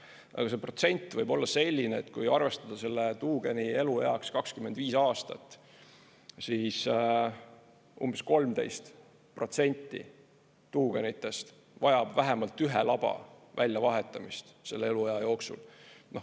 Aga see protsent võib olla selline, et kui arvestada tuugeni elueaks 25 aastat, siis umbes 13% tuugenitest vajab vähemalt ühe laba väljavahetamist selle aja jooksul.